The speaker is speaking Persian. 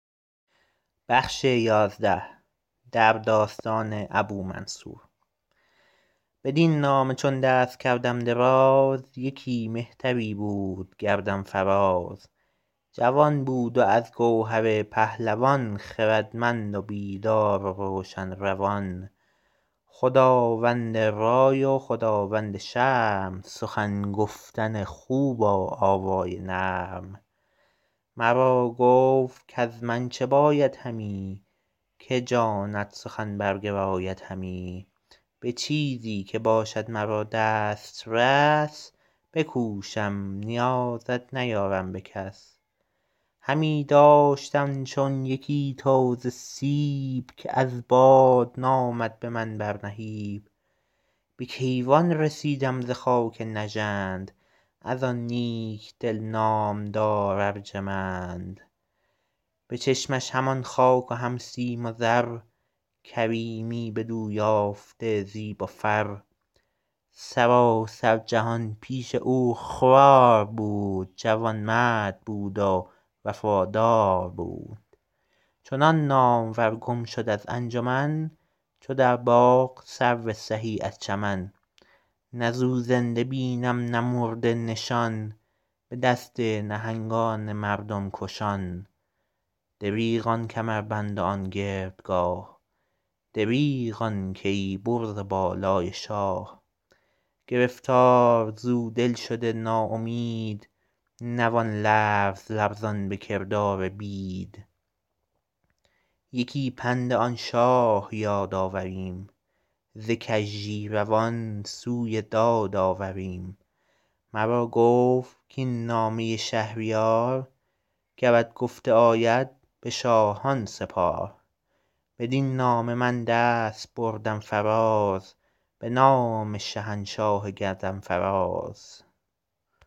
بدین نامه چون دست کردم دراز یکی مهتری بود گردن فراز جوان بود و از گوهر پهلوان خردمند و بیدار و روشن روان خداوند رای و خداوند شرم سخن گفتن خوب و آوای نرم مرا گفت کز من چه باید همی که جانت سخن برگراید همی به چیزی که باشد مرا دسترس بکوشم نیازت نیارم به کس همی داشتم چون یکی تازه سیب که از باد نامد به من بر نهیب به کیوان رسیدم ز خاک نژند از آن نیک دل نامدار ارجمند به چشمش همان خاک و هم سیم و زر کریمی بدو یافته زیب و فر سراسر جهان پیش او خوار بود جوانمرد بود و وفادار بود چنان نامور گم شد از انجمن چو در باغ سرو سهی از چمن نه ز او زنده بینم نه مرده نشان به دست نهنگان مردم کشان دریغ آن کمربند و آن گردگاه دریغ آن کیی برز و بالای شاه گرفتار ز او دل شده نا امید نوان لرز لرزان به کردار بید یکی پند آن شاه یاد آوریم ز کژی روان سوی داد آوریم مرا گفت کاین نامه شهریار گرت گفته آید به شاهان سپار بدین نامه من دست بردم فراز به نام شهنشاه گردن فراز